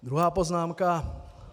Druhá poznámka.